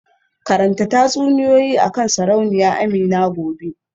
Karanta tatsuniyoyi akan Sarauniya Amina gobe